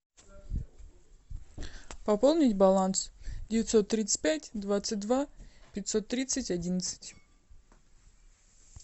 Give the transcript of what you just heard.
пополнить баланс девятьсот тридцать пять двадцать два пятьсот тридцать одиннадцать